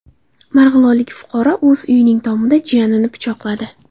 Marg‘ilonlik fuqaro o‘z uyining tomida jiyanini pichoqladi.